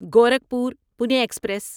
Gorakhpur Pune express